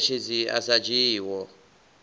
na mueletshedzi a sa dzhiiho